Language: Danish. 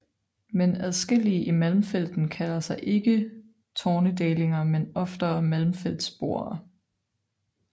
Men adskillige i Malmfälten kalder sig ikke tornedalinger men oftere malmfältsboere